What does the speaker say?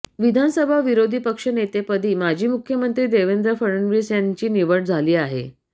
विधानसभा विरोधी पक्षनेतेपदी माजी मुख्यमंत्री देवेंद्र फडणवीस यांची निवड झाली आहे